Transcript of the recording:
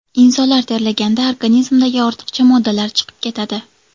Inson terlaganda organizmdagi ortiqcha moddalar chiqib ketadi.